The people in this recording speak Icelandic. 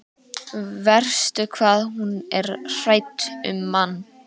Verst hvað hún er hrædd um mann.